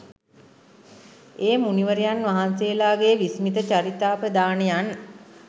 ඒ මුනිවරයන් වහන්සේලාගේ විස්මිත චරිතාපදානයන්